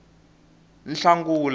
nhlangula